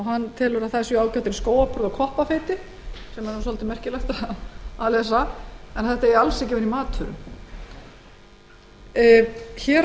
hann telur að þær séu ágætar í skóáburð og koppafeiti sem er nú svolítið merkilegt að lesa en eigi alls ekki vera í matvörum hér á